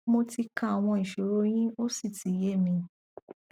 mo ti ka àwọn ìṣoro yín ó sì ti yé mi